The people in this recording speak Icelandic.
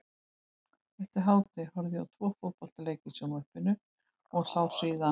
Eftir hádegi horfði ég á tvo fótboltaleiki í sjónvarpinu og sá síðan